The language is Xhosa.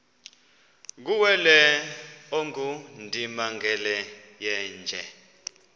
kuwele ongundimangele yeenje